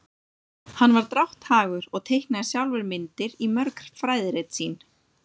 hann var drátthagur og teiknaði sjálfur myndir í mörg fræðirit sín